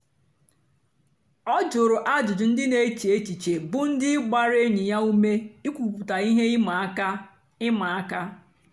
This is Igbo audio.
ọ jụ̀rù àjụ́jụ́ ndì na-èchè èchìchè bụ́ ndí gbàra ényì ya ùmè ìkwùpụ̀tà ihe ị̀ma àka. ị̀ma àka.